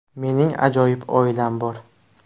Mening ajoyib oilam bor”.